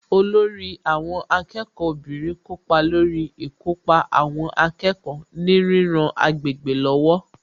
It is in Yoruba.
Olórí àwọn akẹ́kọ̀ọ́ obìnrin kópa lórí ìkópa àwọn akẹ́kọ̀ọ́ ní ríran agbègbè lọ́wọ́